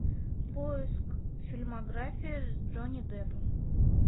поиск фильмография с джонни деппом